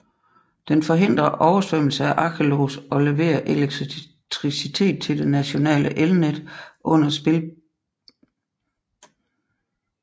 Den forhindrer oversvømmelse af Acheloos og leverer elektricitet til det nationale elnet under spidsbelastningsperioder